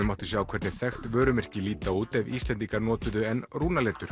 mátti sjá hvernig þekkt vörumerki líta út ef Íslendingar notuðu enn